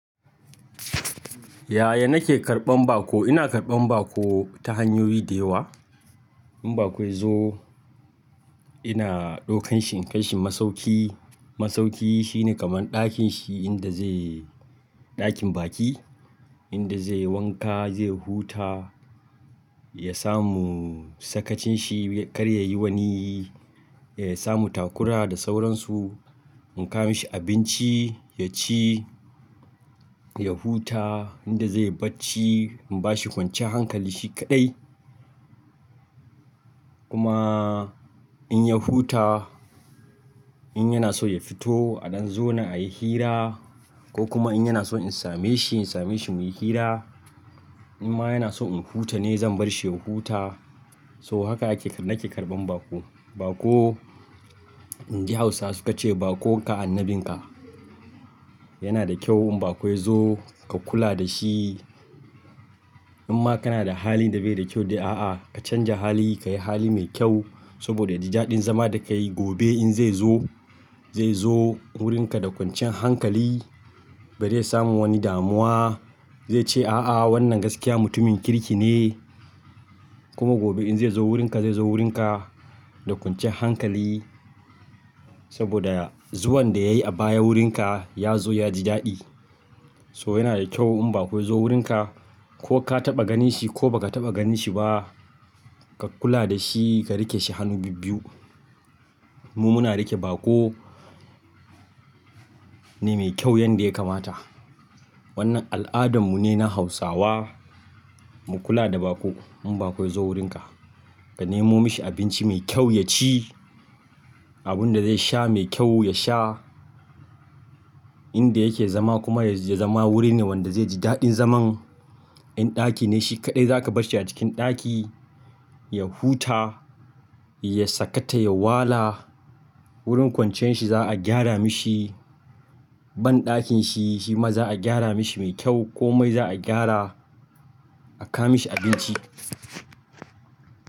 Yaya nake karɓan bako? Ina karɓan bako ta hanyoyi da yawa. In bako ya zo ina ɗaukan shi in kai shi masauki. Masauki shine kaman ɗakin shi inda zai ɗakin baki inda zai yi wanka, zai huta, ya samu sakacin shi. Kar yayi wani, ya samu takura da sauransu. In kawo mashi abinci ya ci, ya huta inda zai barci. In ba shi kwanciyar hankali shi kaɗai. Kuma in ya huta, in yana so ya fito a ɗan zo na a yi hira ko kuma in yana so in same shi, in same shi muyi hira. In ma yana so in huta ne zan bar shi ya huta. So haka ake, nake karɓan bako. Bako, inji Hausawa su ka ce "Bako ka annabin ka." Yana da kyau in bako ya zo ka kula da shi. In ma kana da hali da bai da kyau, dai a a, ka canja hali ka yi hali mai kyau saboda ya ji daɗin zama da ka yi. Gobe in zai zo, zai zo wurin ka da kwancin hankali. Bai iya samun wani damuwa. Zai ce "A a wannan gaskiya mutumin kirki ne." Kuma gobe in zai zo wurin ka, zai zo wurin ka da kwancin hankali saboda zuwan da yayi a baya wurin ka, ya zo ya ji daɗi. So yana da kyau in bako ya zo wurin ka ko ka taɓa ganin shi ko ba ka taɓa ganin shi ba, ka kula da shi ka riƙe shi hannu biyu. Mu muna riƙe bako ne mai kyau yanda ya kamata. Wannan al'adan mu ne na Hausawa. Mu kula da bako. In bako ya zo wurin ka, ka nemo mishi abinci mai kyau ya ci, abun da zai sha mai kyau ya sha. Inda yake zama kuma ya zama wuri ne wanda zai ji daɗin zaman. In ɗaki ne shi kaɗai za ka bar shi a cikin ɗaki. Ya huta, ya sakata, ya wala. Wurin kwancian shi za a gyara mishi. Banɗakin shi ma za a gyara mishi mai kyau ko mai za a gyara. A kawo mashi abinci.